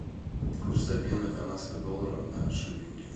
курс обмена канадского доллара на шиллинги